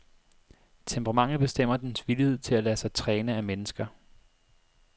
Temperamentet bestemmer dens villighed til at lade sig træne af mennesker.